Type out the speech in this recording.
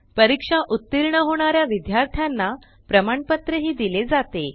परीक्षा उत्तीर्ण होणाऱ्या विद्यार्थ्यांना प्रमाणपत्र दिले जाते